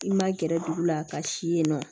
I ma gɛrɛ dugu la ka si yen nɔ